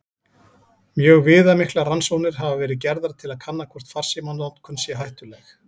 Mjög viðamiklar rannsóknir hafa verið gerðar til að kanna hvort farsímanotkun sé hættuleg.